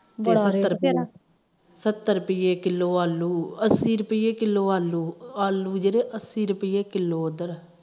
ਸੱਤਰ ਰੁਪੀਏ ਕਿਲੋ ਆਲੂ ਅੱਸੀ ਰੁਪੀਏ ਕਿਲੋ ਆਲੂ ਜਿਹੜੇ ਅੱਸੀ ਰੁਪੀਏ ਕਿਲੋ ਉਧਰ